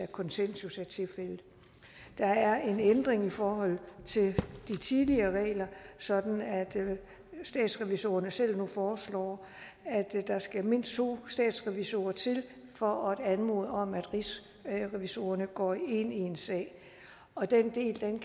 konsensus der er en ændring i forhold til de tidligere regler sådan at statsrevisorerne selv nu foreslår at der skal mindst to statsrevisorer til for at anmode om at rigsrevisorerne går ind i en sag og den del kan